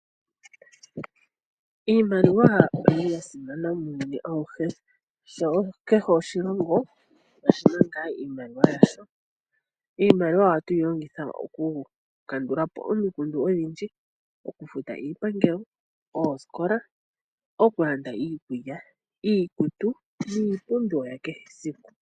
Iimaliwa oyili yasimana muuyuni awuhe, sho kehe oshilongo oshina ngaa iimaliwa yasho. Iimaliwa ohatu yi longitha okukandula po omikundu odhindji okufuta iipangelo, oosikola, okulanda iikulya, iikutu niipumbiwa yakehe esiku.